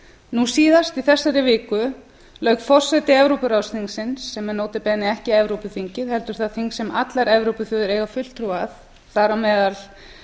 nú síðast í þessari viku lauk forseti evrópuráðsþingsins sem er nota bene ekki evrópuþingið heldur það þing sem allar evrópuþjóðir eiga fulltrúa að þar á meðal